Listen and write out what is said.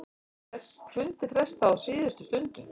Fundi frestað á síðustu stundu